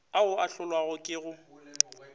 ao a hlolwago ke go